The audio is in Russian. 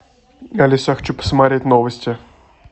алиса я хочу посмотреть новости